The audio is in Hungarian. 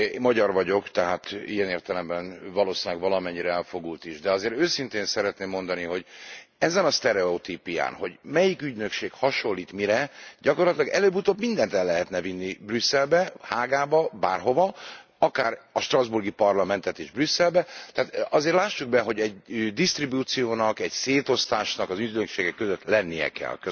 Magyar vagyok, tehát ilyen értelemben valószínűleg valamennyire elfogult is, de azért őszintén szeretném mondani, hogy ezen a sztereotípián, hogy melyik ügynökség hasonlít mire, gyakorlatilag előbb utóbb mindent el lehetne vinni Brüsszelbe, Hágába, bárhova, akár a strasbourgi Parlamentet is Brüsszelbe, tehát azért lássuk be, hogy egy disztribúciónak, egy szétosztásnak az ügynökségek között lenni kell.